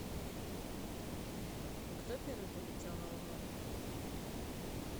а кто первый полетел на луну